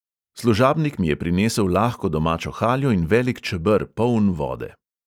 Služabnik mi je prinesel lahko domačo haljo in velik čeber, poln vode.